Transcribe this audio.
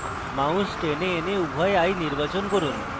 mouse টেনে এনে উভয় eye নির্বাচন করুন